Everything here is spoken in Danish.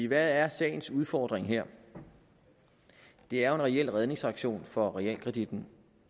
hvad er sagens udfordring her det er jo en reel redningsaktion for realkreditten